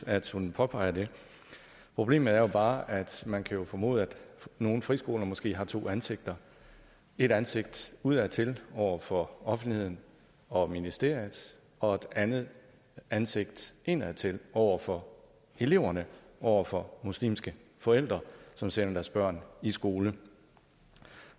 at hun påpeger det problemet er jo bare at man kan formode at nogle friskoler måske har to ansigter et ansigt udadtil over for offentligheden og ministeriet og et andet ansigt indadtil over for eleverne og over for muslimske forældre som sender deres børn i skole